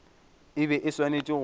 e be e swanetše go